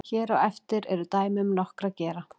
hér á eftir eru dæmi um nokkra gera